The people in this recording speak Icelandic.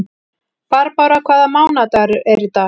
Barbára, hvaða mánaðardagur er í dag?